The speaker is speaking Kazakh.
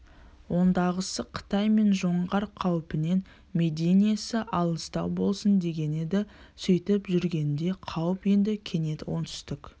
ондағысы қытай мен жоңғар қаупінен мединесі алыстау болсын дегені еді сөйтіп жүргенінде қауіп енді кенет оңтүстік